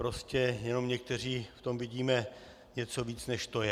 Prostě jenom někteří v tom vidíme něco víc, než to je.